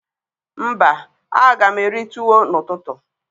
Mba, a ga m eri tuwo n'ututu